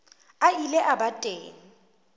a ile a ba teng